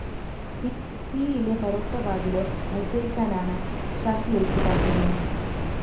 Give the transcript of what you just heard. പിയിലെ ഫറൂഖാബാദിലോ മല്‍സരിക്കാനാണ്‌ ഷാസിയക്ക്‌ താല്‍പര്യം